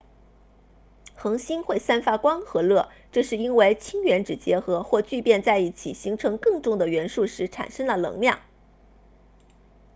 恒星会散发光和热这是因为氢原子结合或聚变在一起形成更重的元素时产生了能量